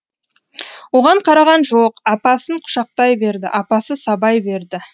оған қараған жоқ апасын құшақтай берді апасы сабай берді